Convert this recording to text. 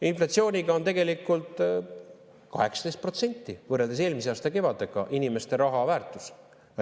Inflatsiooniga on tegelikult 18% võrreldes eelmise aasta kevadega, inimeste raha väärtus.